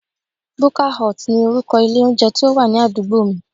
Buka hut ni orúkọ ilé oúnjẹ tí ó wà ní àdúgbò mi